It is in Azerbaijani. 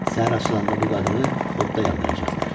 Səhər açılanda bu qadını odda yandıracaqlar.